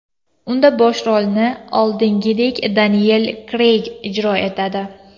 Unda bosh rolni, oldingiday, Deniyel Kreyg ijro etadi.